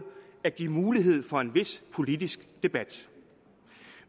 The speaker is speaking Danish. at give mulighed for en vis politisk debat